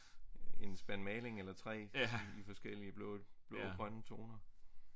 En spand maling eller 3 i forskellige blå blå grønne toner